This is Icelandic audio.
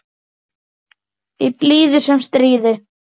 Í blíðu sem stríðu.